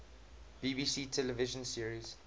bbc television series